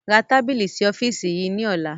Ra tábìlì sì ọ́fíìsì yìí ni ọ̀la!